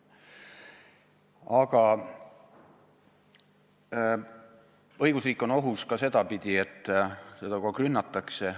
Aga õigusriik on ohus ka sedapidi, et seda kogu aeg rünnatakse.